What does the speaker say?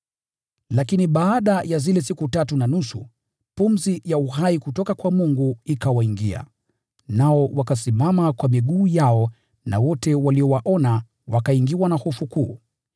Lakini baada ya zile siku tatu na nusu, pumzi ya uhai kutoka kwa Mungu ikawaingia, nao wakasimama kwa miguu yao na wote waliowaona wakaingiwa na hofu kuu.